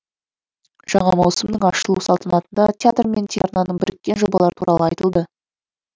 жаңа маусымның ашылу салтанатында театр мен телеарнаның біріккен жобалары туралы айтылды